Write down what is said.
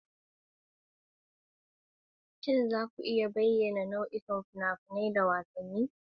Shin za ku iya bayyana nau'ikan fina-finai da yawa, kamar wasan ban dariya, bala'i, da wasan kwaikwayo?